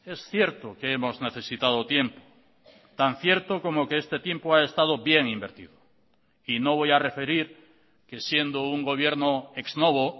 es cierto que hemos necesitado tiempo tan cierto como que este tiempo ha estado bien invertido y no voy a referir que siendo un gobierno ex novo